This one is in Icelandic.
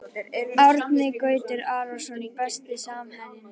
Árni Gautur Arason Besti samherjinn?